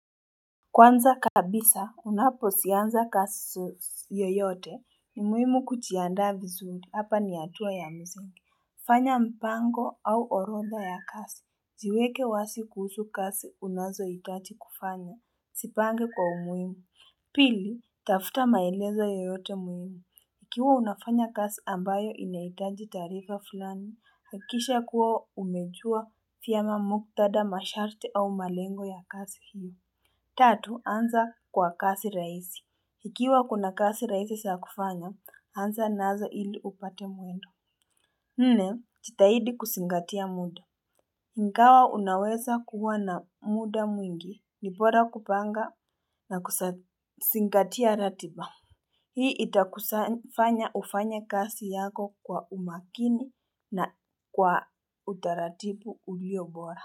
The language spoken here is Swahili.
Kwanza kabisa unapozianza kasi yoyote ni muhimu kuchianda vizuri hapa nihatua ya mzingi fanya mpango au orodha ya kasi Ziweke wasi kuhusu kasi unazohitachi kufanya, sipange kwa umuhimu Pili, tafuta maelezo yoyote muhimu Ukiwa unafanya kasi ambayo inaitaji tarifa fulani, hakisha kuwa umejua vyema muktadha masharti au malengo ya kasi hiyo Tatu, anza kwa kazi raisi. Ikiwa kuna kazi rahisi za kufanya, anza nazo ili upate mwendo. Nne, jitahidi kusingatia muda. Ingawa unaweza kuwa na muda mwingi, nibora kupanga na kusingatia ratiba. Hii itakusa fanya ufanye kasi yako kwa umakini na kwa utaratibu uliyo bora.